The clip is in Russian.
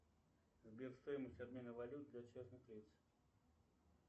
сбер стоимость обмена валют для частных лиц